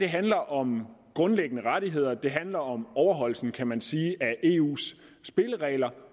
handler om grundlæggende rettigheder det handler om overholdelsen kan man sige af eus spilleregler